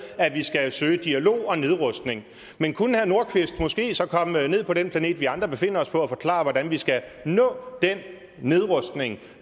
at vi skal søge dialog og nedrustning men kunne herre nordqvist måske så komme ned på den planet vi andre befinder os på og forklare hvordan vi skal nå den nedrustning